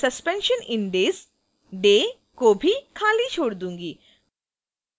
मैं suspension in days day को भी खाली छोड़ दूंगी